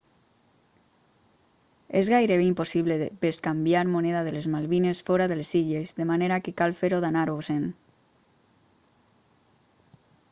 és gairebé impossible bescanviar moneda de les malvines fora de les illes de manera que cal fer-ho d'anar-vos-en